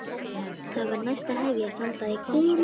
Þá var næst að hefjast handa í Hvammsvík.